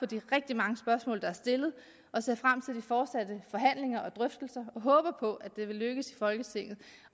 de rigtig mange spørgsmål der er stillet og ser frem til de fortsatte forhandlinger og drøftelser og håber på at det vil lykkes folketinget